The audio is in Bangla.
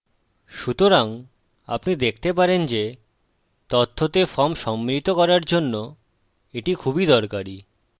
সুতরাং আপনি দেখতে পারেন যে তথ্যতে ফর্ম সম্মিলিত করার জন্য এটি খুবই দরকারী